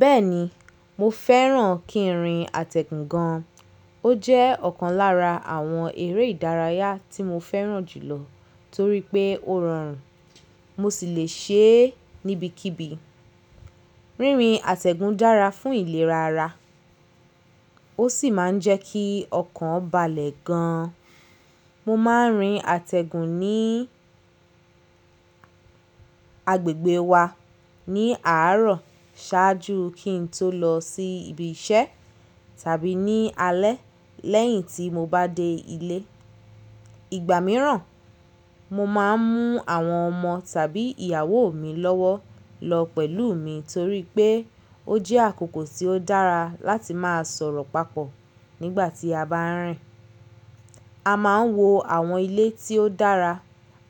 Bẹ́ẹ̀ni, mo fẹ́ràn kí ń rìn àtẹ̀gùn gan. Ó jẹ́ ọ̀kan lára àwọn eré ìdárayá tí mo fẹ́ràn jùlọ torí pé ó rọrùn, mo sì le ṣe é níbikíbi. Rírin àtẹ̀gùn dára fún ìlera ara, ó sì máa ń jẹ́ kí ọkàn balẹ̀ gan. Mo máa ń rin àtẹ̀gùn ní agbègbè wa ní àárọ̀ ṣáájú kí n tó lọ sí ibi iṣẹ́ tàbí ní alẹ́ lẹ́yìn tí mo bá dé ilé. Ìgbà mìíràn, mo máa ń mú àwọn ọmọ tàbí ìyàwó mi lọ́wọ́ lọ pẹ̀lú mi torí pé ó jẹ́ àkókò tí ó dára láti máa sọ̀rọ̀ papọ̀ nígbà tí a bá ń rìn. A máa ń wo àwọn ilé tí ó dára,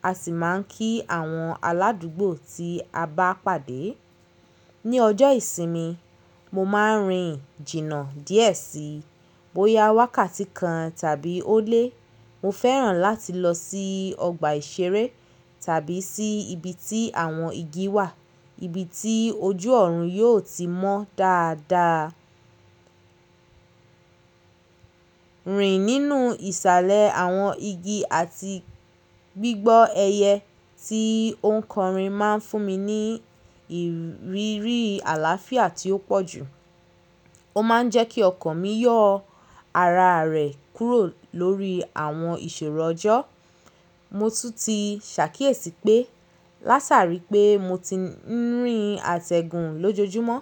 a sì máa ń kí àwọn aládùgbò tí a bá pàdé ní ọjọ́ ìsinmi, mo máa ń rin jìnnà díẹ̀ sí. Bóyá wákàtí kan tàbí ó lé, mo fẹ́ràn láti lọ sí ọgbà ìṣeré tàbí sí ibi tí àwọn igi wà, ibi tí ojú ọ̀run yóò ti mọ́ dáadáa. Rìn nínú ìsàlẹ̀ àwọn igi àti gbígbọ́ ẹyẹ tí ó ń kọrin máa ń fún mi ní ìrírí àlàáfíà tí ó pọ̀ jù. Ó máa ń jẹ́ kí ọkàn mi yọ̀, ara rẹ̀ kúrò lórí àwọn ìṣòro ọjọ́. Mo tún ti ṣàkíyèsí pé lásarí pé mo ti ń rìn àtẹ̀gùn lójoojúmọ́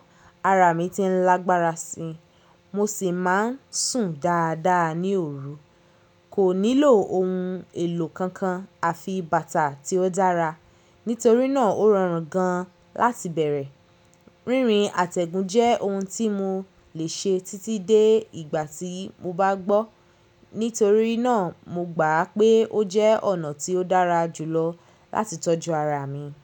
ara mi ti ń lágbára si, mo sì máa ń sùn dáadáa ní òru. Kò nílò ohun èlò kankan àfi bàtà tí ó dára. Nítorí náà ó rọrùn gan-an láti bẹ̀rẹ̀. Rírin àtẹ̀gùn jẹ́ ohun tí mo le ṣe títí dé ìgbà tí mo bá gbọ́. Nítorí náà, mo gbà pé ó jẹ́ ọ̀nà tí ó dára jùlọ láti tọ́jú ara mi.